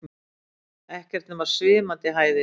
Ekkert nema svimandi hæðir.